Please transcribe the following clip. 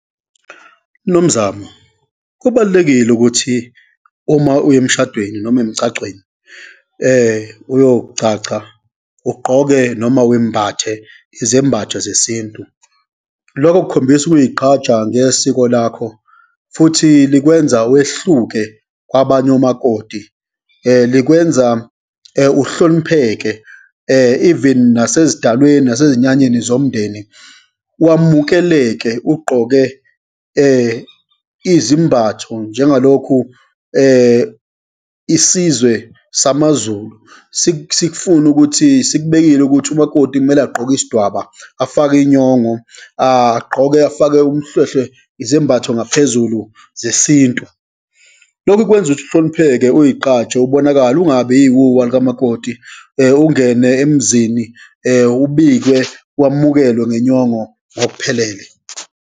Nomzamo, kubalulekile ukuthi uma uya emshadweni noma emgcagcweni uyogcagca, ugqoke noma wembathe izembhatho zesintu. Lokho kukhombisa ukuyigqaja ngesiko lakho, futhi likwenza wehluke kwabanye omakoti, likwenza uhlonipheke, even nasezidalweni nasezinyanyeni zomndeni, wamukeleke ugqoke izimbatho, njengalokhu isizwe samaZulu sikufune ukuthi sikubekile ukuthi umakoti kumele agqoke isidwaba, afake inyongo, agqoke afake umhlwehlwe, izembatho ngaphezulu zesintu. Lokhu kwenza ukuthi uhlonipheke, uyigqaje, ubonakale, ungabiyiwuwa likamakoti, ungene emzini ubike wamukelwe ngenyongo ngokuphelele.